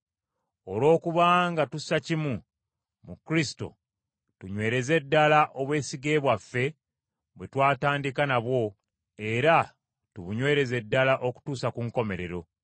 Olw’okubanga tussa kimu mu Kristo, tunywereze ddala obwesige bwaffe bwe twatandika nabwo, era tubunywereze ddala okutuusa ku nkomerero.